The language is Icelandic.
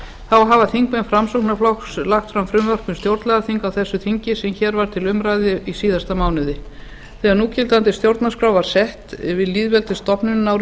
þá hafa þingmenn framsóknarflokksins lagt fram frumvarp um stjórnlagaþing á þessu þingi sem hér var til umræðu í síðasta mánuði þegar núgildandi stjórnarskrá var sett við lýðveldisstofnunina árið nítján